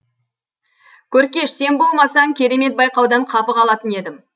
көркеш сен болмасаң керемет байқаудан қапы қалатын едім